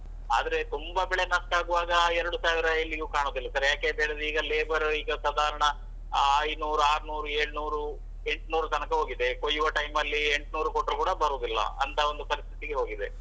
ಆದ್ರೆ ತುಂಬಾ ಬೆಲೆ ನಷ್ಟ ಆಗುವಾಗ ಆ ಎರಡು ಸಾವಿರ ಎಲ್ಲಿಗೂ ಕಾಣುದಿಲ್ಲ sir ಯಾಕೆ ಅಂತ ಹೇಳಿದ್ರೆ ಈಗ labor ಈಗ ಸಾಧಾರಣ ಅಹ್ ಐನೂರು ಆರ್ನೂರು ಏಳ್ನೂರು ಎಂಟ್ನೂರು ತನಕ ಹೋಗಿದೆ. ಕೊಯ್ಯುವ time ಅಲ್ಲಿ ಎಂಟ್ನೂರು ಕೊಟ್ರು ಕೂಡ ಬರುದಿಲ್ಲ. ಅಂತ ಒಂದು ಪರಿಸ್ಥಿತಿಗೆ ಹೋಗಿದೆ,